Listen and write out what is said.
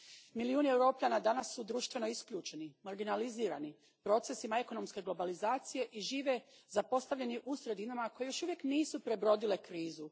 Milijuni Europljana danas su društveno isključeni, marginalizirani procesima ekonomske globalizacije i žive zapostavljeni u sredinama koje još uvijek nisu prebrodile krizu.